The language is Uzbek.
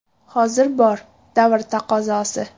Hozir bor, davr taqozosi.